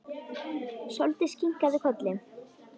Sóldís kinkaði kolli.